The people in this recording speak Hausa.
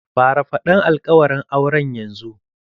Fara faɗan alƙawaran auren yanzu!